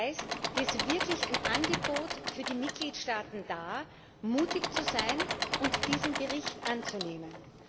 Das heißt, hier ist wirklich ein Angebot für die Mitgliedstaaten da, mutig zu sein und diesen Bericht anzunehmen.